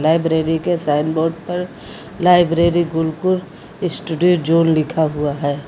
Library के sign board पर library Gurukul study zone लिखा हुआ है।